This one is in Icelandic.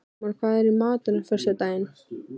Jómar, hvað er í matinn á föstudaginn?